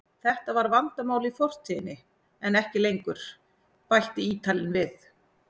Þetta var vandamál í fortíðinni en ekki lengur, bætti Ítalinn við.